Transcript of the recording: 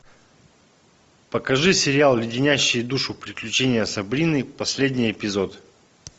покажи сериал леденящие душу приключения сабрины последний эпизод